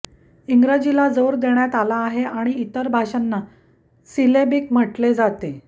इंग्रजीला जोर देण्यात आला आहे आणि इतर भाषांना सिलेबिक म्हटले जाते